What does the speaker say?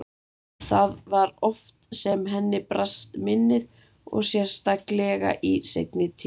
Það var svo oft sem henni brast minnið og sérstaklega í seinni tíð.